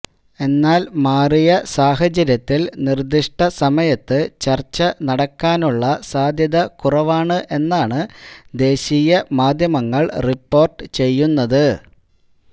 എന്നാല് മാറിയ സാഹചര്യത്തില് നിര്ദിഷ്ട സമയത്ത് ചര്ച്ച നടക്കാനുളള സാധ്യത കുറവാണ് എന്നാണ് ദേശീയ മാധ്യമങ്ങള് റിപ്പോര്ട്ട് ചെയ്യുന്നത്